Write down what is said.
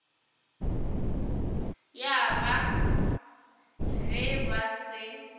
ya ba ge ba se